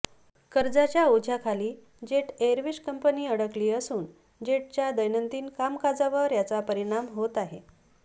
कर्जाच्या ओझ्याखाली Jet Airways company अडकली असून जेटच्या दैनंदिन कामकाजावर याचा परिणाम होत आहे